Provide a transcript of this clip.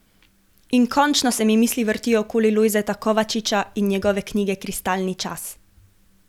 In končno se mi misli vrtijo okoli Lojzeta Kovačiča in njegove knjige Kristalni čas.